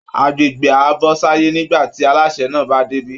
Agbègbè á bọ́ sáyé nígbà tí alásè náà bá débí